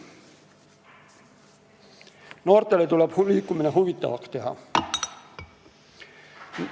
Noortele tuleb liikumine huvitavaks teha.